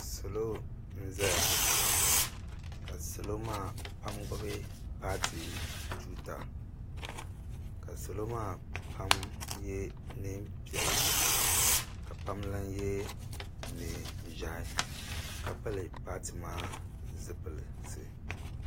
Salo n zaya ka salo maa pam gbubi paati tuuta ka salo maa pam yɛ niɛn piɛla ka pam. lan yɛ niɛn ʒiɛhi ka pili paati maa zipilisi.